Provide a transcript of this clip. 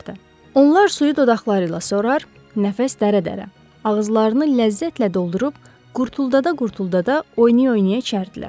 Onlar suyu dodaqları ilə sorar, nəfəs dərə-dərə, ağızlarını ləzzətlə doldurub qurtuldada-qurtuldada oynaya-oynaya içərdilər.